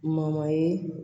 ye